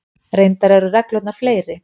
Reyndar eru reglurnar fleiri.